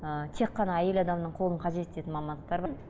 ыыы тек қана әйел адамның қолын қажет ететін мамандықтар бар